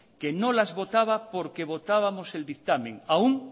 que no las votaba porque votábamos el dictamen aun